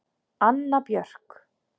Anna Björk.